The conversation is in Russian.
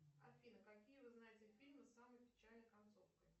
афина какие вы знаете фильмы с самой печальной концовкой